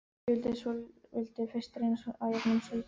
Ég vildi fyrst reyna að jafna mig svolítið.